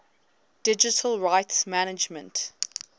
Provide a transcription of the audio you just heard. digital rights management